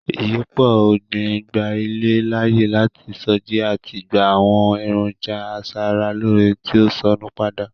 Ìyípo ọ̀gbín gba ilẹ̀ láàyè láti sọjí àti gba àwọn èròńjà asara-lóóre tí ó sọnù padà.